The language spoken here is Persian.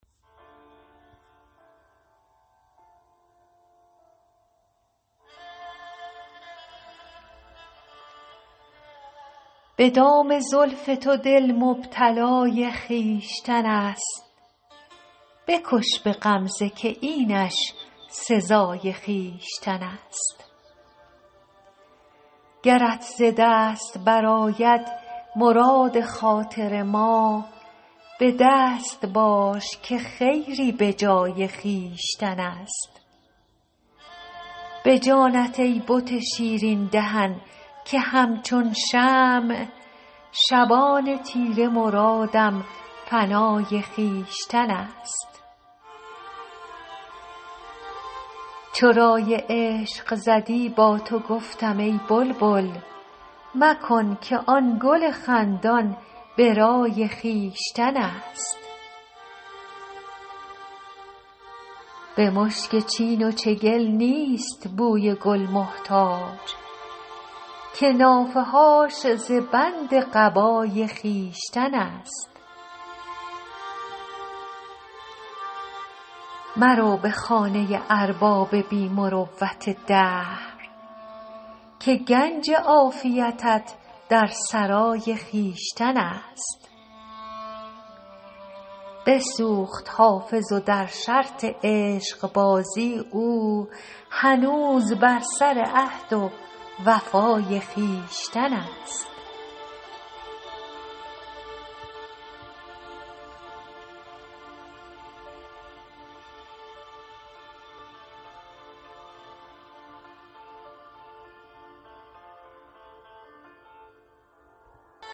به دام زلف تو دل مبتلای خویشتن است بکش به غمزه که اینش سزای خویشتن است گرت ز دست برآید مراد خاطر ما به دست باش که خیری به جای خویشتن است به جانت ای بت شیرین دهن که همچون شمع شبان تیره مرادم فنای خویشتن است چو رای عشق زدی با تو گفتم ای بلبل مکن که آن گل خندان به رای خویشتن است به مشک چین و چگل نیست بوی گل محتاج که نافه هاش ز بند قبای خویشتن است مرو به خانه ارباب بی مروت دهر که گنج عافیتت در سرای خویشتن است بسوخت حافظ و در شرط عشقبازی او هنوز بر سر عهد و وفای خویشتن است